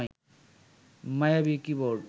মায়াবী কিবোর্ড